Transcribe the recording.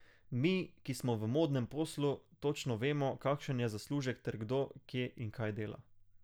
Mi, ki smo v modnem poslu, točno vemo, kakšen je zaslužek ter kdo, kje in kaj dela.